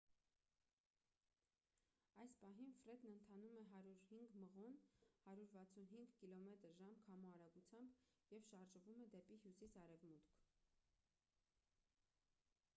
այս պահին ֆրեդն ընթանում է 105 մղոն 165 կմ/ժ քամու արագությամբ և շարժվում է դեպի հյուսիս-արևմուտք։